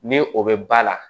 Ni o bɛ ba la